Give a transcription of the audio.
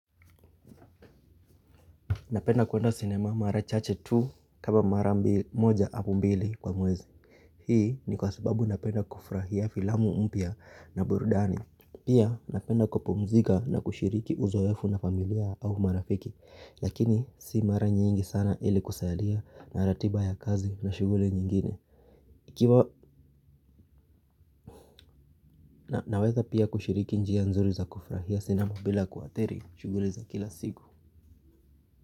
Napenda kwenda sinema mara chache tu kama mara moja au mbili kwa mwezi. Hii ni kwa sababu napenda kufurahia filamu mpya na burudani. Pia napenda kupumzika na kushiriki uzoefu na familia au marafiki. Lakini si mara nyingi sana ili kusalia na ratiba ya kazi na shughuli nyingine. Ikiwa naweza pia kushiriki njia nzuri za kufurahia sinema bila kuadhiri shughuli za kila siku.